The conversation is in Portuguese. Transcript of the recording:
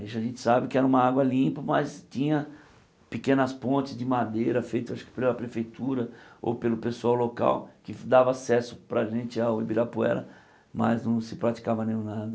Hoje a gente sabe que era uma água limpa, mas tinha pequenas pontes de madeira feitas, acho que pela prefeitura ou pelo pessoal local, que dava acesso para a gente ao Ibirapuera, mas não se praticava nenhum nado.